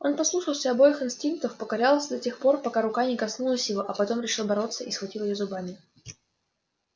он послушался обоих инстинктов покорялся до тех нор пока рука не коснулась его а потом решил бороться и схватил её зубами